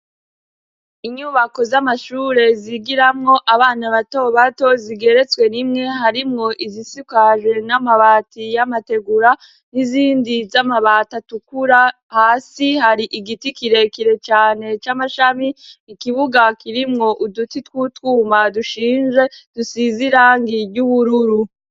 Inyubako z'amashure zigiramwo abana batobato zigeretswe rimwe, harimwo izisikajwe n'amabati y'amategura, n'izindi z'amabati atukura, hasi hari igiti kirekire cane c'amashami, ikibuga kirimwo uduti tw'utwuma dushinz,e dusize irangi ry'ubururu.